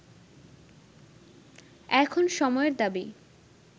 এখন সময়ের দাবি